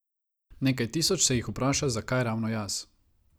Nekaj tisoč se jih vpraša, zakaj ravno jaz.